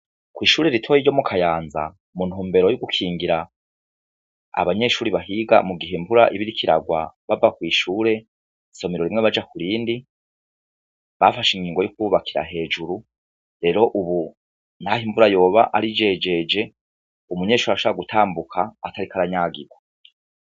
Kw'ishure ritoyi ryo mu Kayanza, mu ntumbero yo gukingira abanyeshuri bahiga mu gihe imvura iba iriko iragwa bava kw' ishure, isomero rimwe baja kurindi, bafashe ingingo yo kububakira hejuru . Rero ubu naho imvura yoba ari jejeje, umunyeshuri ashobora gutambuka atariko aranyagirwa.